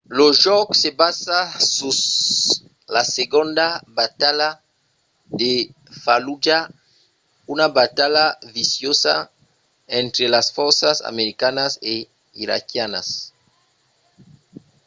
lo jòc se basa sus la segonda batalha de fallujah una batalha viciosa entre las fòrças americanas e iraquianas